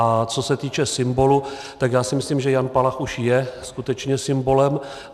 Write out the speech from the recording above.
A co se týče symbolu, tak já si myslím, že Jan Palach už je skutečně symbolem.